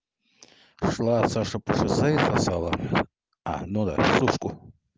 шла саша по шоссе и сосала а ну да сушку